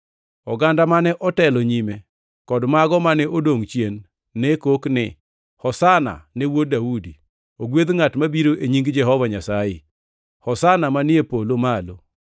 Oganda mane otelo nyime kod mago mane odongʼ chien nekok ni, “Hosana ne Wuod Daudi!” + 21:9 \+xt Zab 118:26\+xt* “Ogwedh ngʼat mabiro e nying Jehova Nyasaye!” “Hosana manie polo malo!”